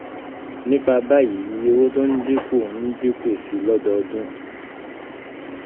nípa báyìí iye owó tó ń dínkù ń dínkù sí lọ́dọọdún.